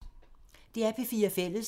DR P4 Fælles